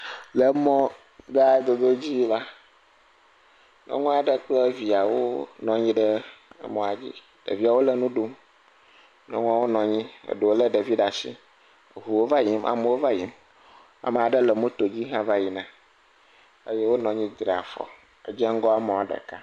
Le mɔgãdodo dzi la nyɔnu aɖe kple viawo nɔ anyiɖe mɔadzi ɖewo le nuɖum nyɔnuawo nɔ anyi ɖewo le ɖevi ɖe asi ʋuwo va yim amewo vayim ame aɖewo le motodzi vayina eye wonɔ anyi dra afɔ dzeŋgɔ mɔ ɖeka